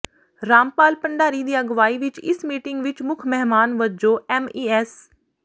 ਰਾਮਪਾਲ ਭੰਡਾਰੀ ਦੀ ਅਗਵਾਈ ਵਿੱਚ ਇਸ ਮੀਟਿੰਗ ਵਿੱਚ ਮੁੱਖ ਮਹਿਮਾਨ ਵਜੋਂ ਐੱਮਈਐੱਸ